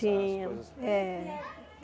Tinha. É